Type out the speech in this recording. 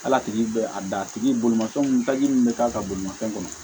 K'ala tigi bɛ a dan a tigi bolomafɛnw taji min bɛ k'a ka bolimanfɛn kɔnɔ